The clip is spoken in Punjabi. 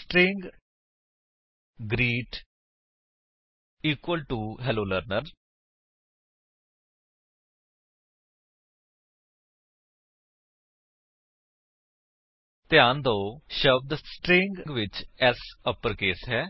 string greet equal to hello Learner160 ਧਿਆਨ ਦਿਓ ਸ਼ਬਦ ਸਟ੍ਰਿੰਗ ਵਿੱਚ S ਅਪਰਕੇਸ ਹੈ